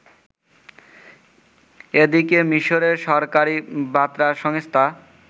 এদিকে মিশরের সরকারী বার্তা সংস্থা